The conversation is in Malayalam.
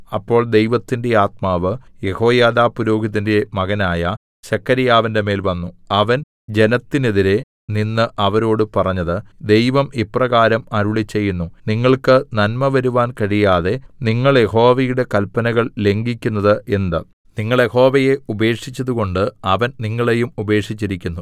അപ്പോൾ ദൈവത്തിന്റെ ആത്മാവ് യെഹോയാദാ പുരോഹിതന്റെ മകനായ സെഖര്യാവിന്റെ മേൽ വന്നു അവൻ ജനത്തിന്നെതിരെ നിന്ന് അവരോട് പറഞ്ഞത് ദൈവം ഇപ്രകാരം അരുളിച്ചെയ്യുന്നു നിങ്ങൾക്ക് നന്മ വരുവാൻ കഴിയാതെ നിങ്ങൾ യഹോവയുടെ കല്പനകൾ ലംഘിക്കുന്നത് എന്ത് നിങ്ങൾ യഹോവയെ ഉപേക്ഷിച്ചതുകൊണ്ട് അവൻ നിങ്ങളെയും ഉപേക്ഷിച്ചിരിക്കുന്നു